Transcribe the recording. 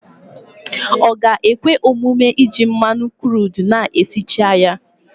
Ọ ga-ekwe omume iji mmanụ kruudu na-esichaghị ya?